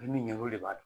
Min ɲɛ o de b'a don